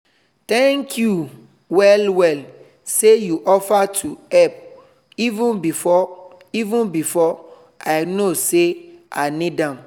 thank you well well say you offer to help even before even before i know sey i need am